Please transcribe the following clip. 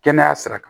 Kɛnɛya sira kan